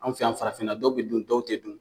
An fɛ yan farafinna dɔw be dun dɔw te dun